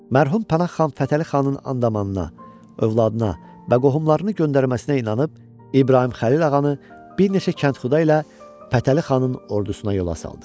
Mərhum Pənah xan Fətəli xanın and-amanına, övladına və qohumlarını göndərməsinə inanıb, İbrahim Xəlil ağanı bir neçə kəndxuda ilə Fətəli xanın ordusuna yola saldı.